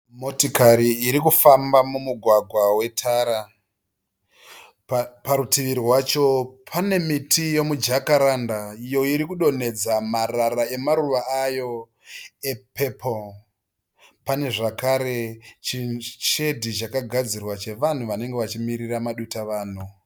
Motokari irikufamba mumugwagwa wetara, parutivi rwacho pane miti yemi jakaranda iyo irikudonhedza marara emaruva ayo epepo pane zvakare chishedhi chakagadzirwa chevanhu vanenge vachimirira maduta vanhu.